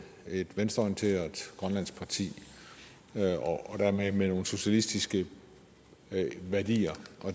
et venstreorienteret grønlandsk parti med nogle socialistiske værdier